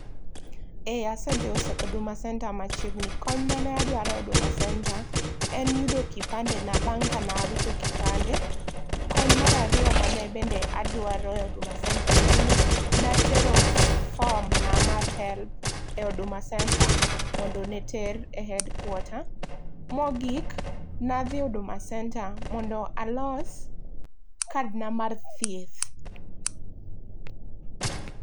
Eeh asedhi e huduma centre machiegni. Kony mane adwaro huduma centre en yudo kipande na bang kane awito kipande. Kony mar ariyo mane bende adwaro e huduma centre en ni ne atero form na mar Helb e huduma centre mondo ne ter e headquarter. Mogik ne adhi e huduma centre mondo alos kad na mar thieth